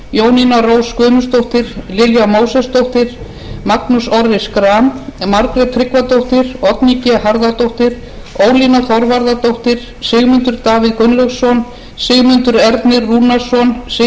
jónína rós guðmundsdóttir lilja mósesdóttir magnús orri schram margrét tryggvadóttir oddný g harðardóttir ólína þorvarðardóttir sigmundur davíð gunnlaugsson sigmundur ernir rúnarsson sigríður ingibjörg ingadóttir sigurður